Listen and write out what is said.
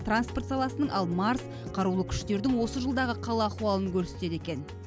транспорт саласының ал марс қарулы күштердің осы жылдағы хал ахуалын көрсетеді екен